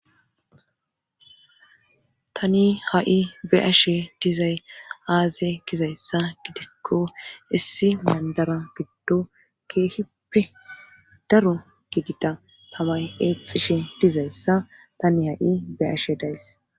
tani ha7i be ashe dizay aaze gizayssa gidekko issi mandara giddo keehippe daro gidida tamay eexxishe dizayssa tani ha7i be6ashe days